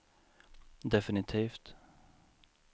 definitivt